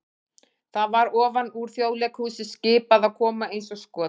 það var ofan úr Þjóðleikhúsi skipað að koma eins og skot!